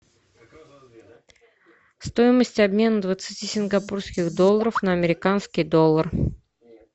стоимость обмена двадцати сингапурских долларов на американский доллар